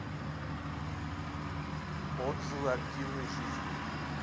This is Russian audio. отзывы активной жизни